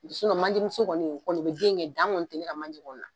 manjemuso kɔni o bɛ den kɛ dan kɔni tɛ ne ka manje kɔni na